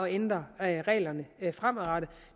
ændre reglerne fremadrettet